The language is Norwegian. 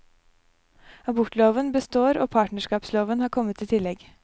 Abortloven består og partnerskapsloven har kommet i tillegg.